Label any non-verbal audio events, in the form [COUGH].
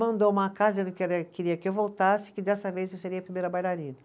Mandou uma carta dizendo [UNINTELLIGIBLE] queria que eu voltasse e que dessa vez eu seria a primeira bailarina.